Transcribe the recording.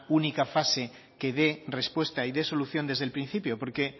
única fase que dé respuesta y dé solución desde el principio porque